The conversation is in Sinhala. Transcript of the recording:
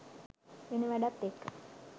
වෙන වැඩත් එක්ක